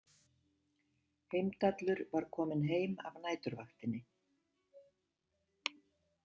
Heimdallur var kominn heim af næturvaktinni.